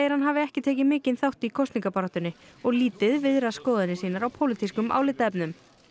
hann hafi ekki tekið mikinn þátt í kosningabaráttunni og lítið viðrað skoðanir sínar á pólitískum álitaefnum